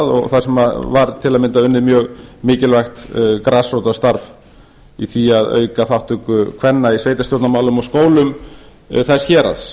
og þar sem var til að mynda unnið mjög mikilvægt grasrótarstarf í því að auka þátttöku kvenna í sveitarstjórnarmálum og skólum þess héraðs